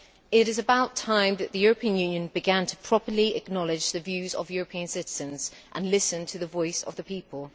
It is about time that the European Union began to properly acknowledge the views of European citizens and listen to the voice of the people.